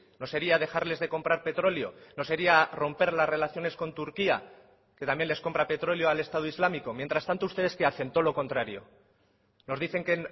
no sería dejarles de comprar petróleo no sería romper las relaciones con turquía que también les compra petróleo al estado islámico mientras tanto ustedes qué hacen todo lo contrario nos dicen que